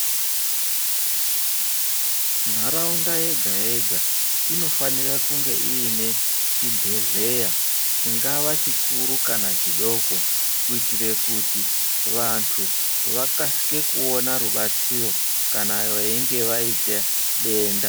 Nharaunda yega yega inofanira kunge iine chibhedhleya chingava chikuru kana chidoko kuitire kuti vantu vakasike kuona rubatsiro kana vainge vaiite denda.